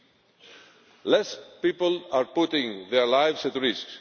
Fewer people are putting their lives at